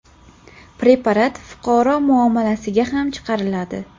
preparat fuqaro muomalasiga ham chiqariladi.